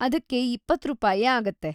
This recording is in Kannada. ಅದಕ್ಕೆ ಇಪ್ಪತ್ತು ರೂಪಾಯಿ ಆಗುತ್ತೆ.